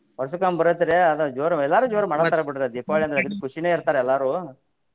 ವರ್ಷಕೊಮ್ಮೆ ಬರೈತ್ರಿ ಅದ ಜೋರು ಎಲ್ಲಾರು ಜೋರು ಮಾಡತಾರ ಬಿಡ್ರಿ ದೀಪಾವಳಿ ಅಂದ್ರ ಖುಷಿನೇ ಇರ್ತಾರ ಎಲ್ಲಾರು.